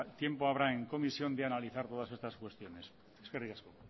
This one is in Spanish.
tiempo habrá en comisión de analizar todas estas cuestiones eskerrik asko